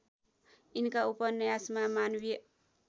यिनका उपन्यासमा मानवीय